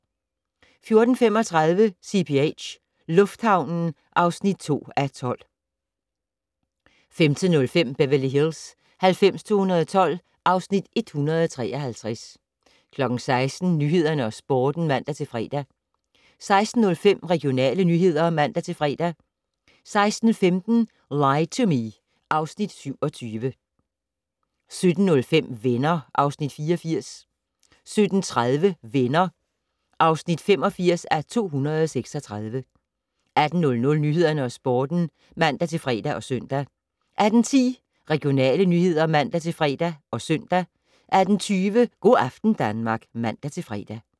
14:35: CPH - lufthavnen (2:12) 15:05: Beverly Hills 90210 (Afs. 153) 16:00: Nyhederne og Sporten (man-fre) 16:05: Regionale nyheder (man-fre) 16:15: Lie to Me (Afs. 27) 17:05: Venner (Afs. 84) 17:30: Venner (85:236) 18:00: Nyhederne og Sporten (man-fre og søn) 18:10: Regionale nyheder (man-fre og søn) 18:20: Go' aften Danmark (man-fre)